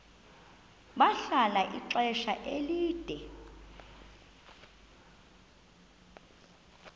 bahlala ixesha elide